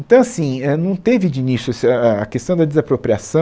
Então assim, é, não teve de início essa a a questão da desapropriação.